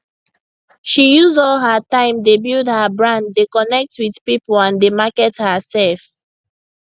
she use all her time dey build her brand dey connect with people and dey market hersef